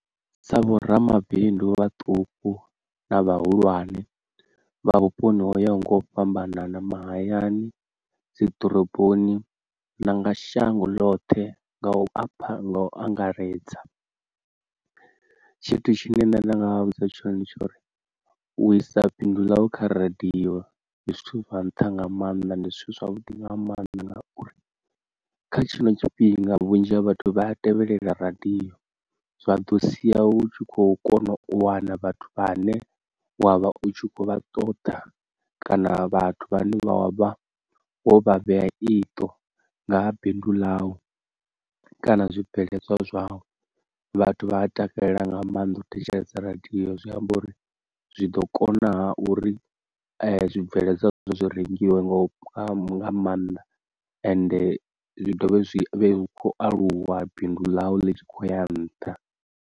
Sa vhoramabindu vhaṱuku na vhahulwane vha vhuponi ho yaho nga u fhambanana mahayani dzi ḓoroboni na nga shango ḽoṱhe nga u apha nga u angaredza, tshithu tshine nṋe nda nga vha vhudza tshone ndi tshori u isa bindu ḽau kha radio ndi zwithu zwa nṱha nga maanḓa, ndi zwithu zwavhuḓi nga maanḓa ngauri kha tshino tshifhinga vhunzhi ha vhathu vha a tevhelela radio zwa ḓo sia u tshi khou kona u wana vhathu vhane wavha u kho vha ṱoḓa kana vhathu vhane vha wavha wo vha vhea iṱo nga ha bindu ḽau kana zwibveledzwa zwau, vhathu vha a takalela nga maanḓa u thetshelesa radio zwi amba uri zwi ḓo kona uri zwibveledzwa zwi rengiwe nga maanḓa ende zwi dovhe zwi khou aluwa bindu ḽau litshi kho ya nṱha.